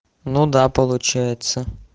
ну да получается